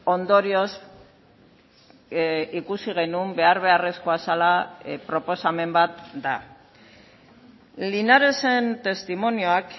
ondorioz ikusi genuen behar beharrezkoa zela proposamen bat da linaresen testimonioak